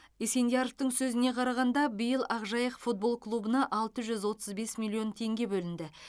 есендияровтің сөзіне қарағанда биыл ақжайық футбол клубына алты жүз отыз бес миллион теңге бөлінді